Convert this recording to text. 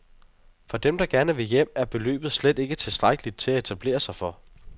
For dem, der gerne vil hjem, er beløbet slet ikke tilstrækkeligt til at etablere sig for.